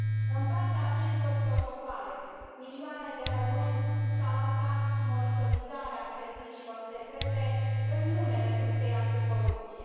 În baza acestor protocoale, milioane de români s au aflat sub monitorizarea serviciilor secrete, în numele luptei anticorupție.